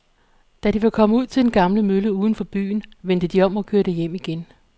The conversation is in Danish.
Da de var kommet ud til den gamle mølle uden for byen, vendte de om og kørte hjem igen.